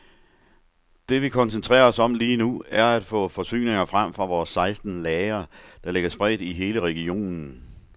Det vi koncentrerer os om lige nu, er at få forsyninger frem fra vores seksten lagre, der ligger spredt i hele regionen.